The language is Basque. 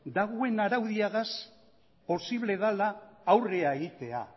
dagoen araudiagaz posiblea dela aurre egitea